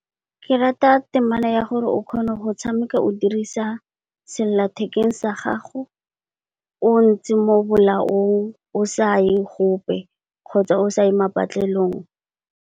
Ke rata temana ya gore o kgone go tshameka o dirisa sellathekeng sa gago o ntse mo bolaong, o sa ye gope kgotsa o sa ye patlelong.